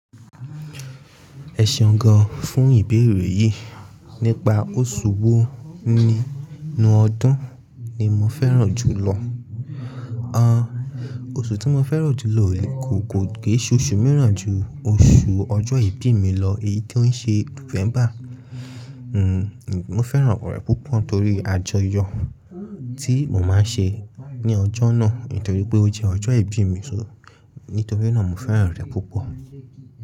Ẹ̀ṣọ́ gan fún ìbéèrè yìí nípa oṣù wo nínú ọdún ni mo fẹ́ràn jùlọ. An, oṣù tí mo fẹ́ràn jù lọ ò lè kò, kò kii se oṣù mìíràn ju oṣù ọjọ́ ìbí mi lọ, èyí tó ń ṣe November. Hmm, mo fẹ́ràn opo rẹ̀ púpọ̀ torí àjọyọ̀ tí mo máa ń ṣe ní ọjọ́ náà ntorí pé ó jẹ́ ọjọ́ ìbí mi so, nítorí náà mo fẹ́ràn rẹ̀ púpọ̀.